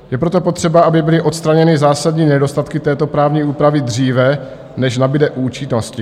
Je proto potřeba, aby byly odstraněny zásadní nedostatky této právní úpravy dříve, než nabyde účinnosti.